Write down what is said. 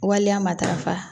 Waleya matarafa